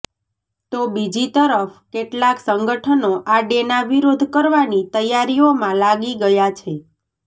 તો બીજી તરફ કેટલાક સંગઠનો આ ડેના વિરોધ કરવાની તૈયારીઓમાં લાગી ગયા છે